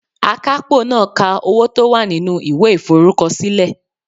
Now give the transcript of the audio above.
Akapo naa ka owo to wa ninu iwe iforukosile